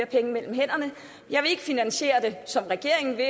penge mellem hænderne jeg vil ikke finansiere det som regeringen vil